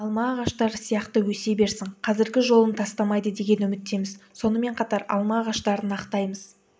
алма ағаштары сияқты өсе берсін қазіргі жолын тастамайды деген үміттеміз сонымен қатар алма ағаштарын ақтаймыз